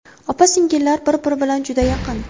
Opa-singillar bir-biri bilan juda yaqin.